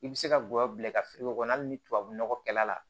I bɛ se ka gɔyɔ bila i ka kɔnɔ hali ni tubabu nɔgɔkɛla la